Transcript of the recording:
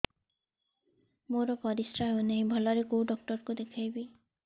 ମୋର ପରିଶ୍ରା ହଉନାହିଁ ଭଲରେ କୋଉ ଡକ୍ଟର କୁ ଦେଖେଇବି